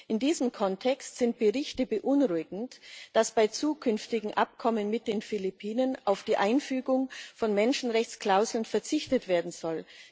In diesem Kontext sind Berichte beunruhigend, dass bei zukünftigen Abkommen mit den Philippinen auf die Einfügung von Menschenrechtsklauseln verzichtet werden soll.